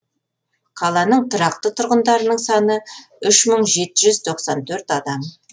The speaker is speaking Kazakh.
қаланың тұрақты тұрғындарының саны үш мың жеті жүз тоқсан төрт адамды құрайды